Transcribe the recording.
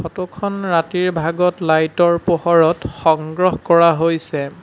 Photo খন ৰাতিৰ ভাগত লাইট ৰ পোহৰত সংগ্ৰহ কৰা হৈছে।